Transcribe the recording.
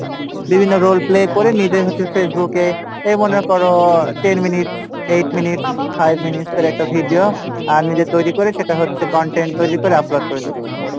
বিভিন্ন role play করে নিজে হচ্ছে Facebook এ, এই মনে করো ten minutes, eight minutes, five minutes এর একটা video আহ নিজে তৈরি করে সেটা হচ্ছে content তৈরি করে upload করে দিচ্ছি,